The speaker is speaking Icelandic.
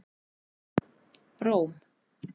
Róm